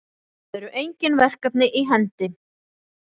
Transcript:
Það eru engin verkefni í hendi